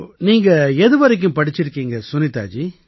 நீங்க எதுவரை படிச்சிருக்கீங்க சுனிதா ஜி